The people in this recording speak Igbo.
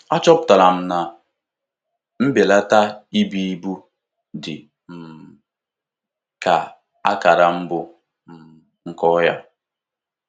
Achọpụtara m na mbelata ibu ibu dị um ka akara mbụ nke ọrịa.